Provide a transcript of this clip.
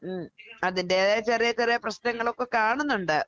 ഉം അതിന്റേതായ ചെറിയ ചെറിയ പ്രശ്നങ്ങളൊക്കെ കാണുന്നൊണ്ട്.